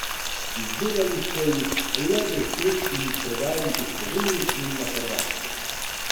Izdelali so jih le deset in jih prodajali v Sloveniji in na Hrvaškem.